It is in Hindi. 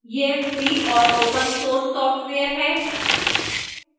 यह free और open source सॉफ्टवेयर है